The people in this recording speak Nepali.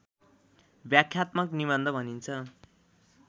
व्याख्यात्मक निबन्ध भनिन्छ